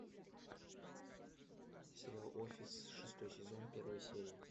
сериал офис шестой сезон первая серия